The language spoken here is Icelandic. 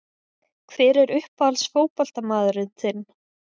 Hver er uppáhalds fótboltamaðurinn þinn?